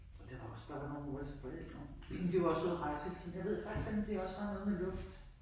Og det var også der var nogen af vores forældre de var også ude at rejse hele tiden jeg ved ikke det kan også være noget med luft